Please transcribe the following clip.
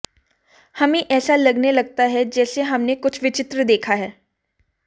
हमें ऐसा लगने लगता है जैसे हमने कुछ विचित्र देखा है